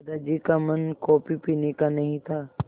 दादाजी का मन कॉफ़ी पीने का नहीं था